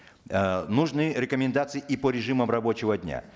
э нужны рекомендации и по режимам рабочего дня